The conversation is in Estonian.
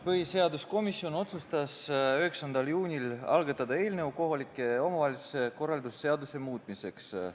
Põhiseaduskomisjon otsustas 9. juunil algatada eelnõu kohaliku omavalitsuse korralduse seaduse muutmiseks.